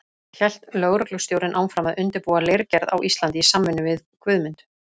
Hélt lögreglustjórinn áfram að undirbúa leirgerð á Íslandi í samvinnu við Guðmund.